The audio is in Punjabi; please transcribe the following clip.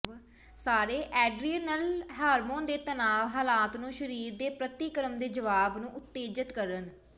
ਸਾਰੇ ਐਡਰੀਨਲ ਹਾਰਮੋਨ ਦੇ ਤਣਾਅ ਹਾਲਾਤ ਨੂੰ ਸਰੀਰ ਦੇ ਪ੍ਰਤੀਕਰਮ ਦੇ ਜਵਾਬ ਨੂੰ ਉਤੇਜਤ ਕਰਨ